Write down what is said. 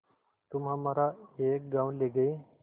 तुम हमारा एक गॉँव ले गये